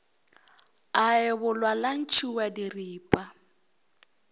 a ebolwa la ntšhiwa diripa